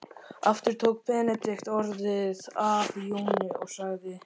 Aftur tók Benedikt orðið af Jóni og sagði